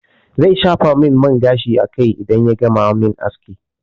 Zai shafa min man gashi a kai idan ya gama min aski.